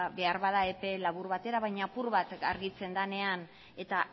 beharbada epe labur batera baina apur bat argitzen denean eta